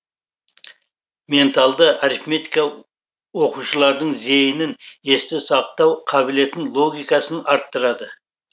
менталды арифметика оқушылардың зейінін есте сақтау қабілетін логикасын арттырады